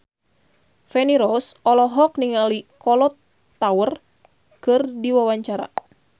Feni Rose olohok ningali Kolo Taure keur diwawancara